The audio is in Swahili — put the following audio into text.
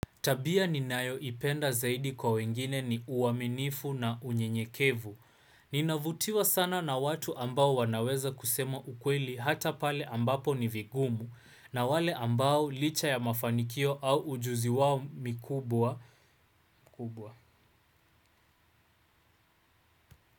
Tabia ninayo ipenda zaidi kwa wengine ni uaminifu na unyenyekevu. Ninavutiwa sana na watu ambao wanaweza kusema ukweli hata pale ambapo ni vigumu na wale ambao licha ya mafanikio au ujuzi wao mikubwa mkubwa.